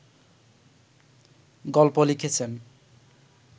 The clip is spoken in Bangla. গল্প লিখেছেন